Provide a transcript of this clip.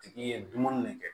Tigi ye dumuni ne kɛ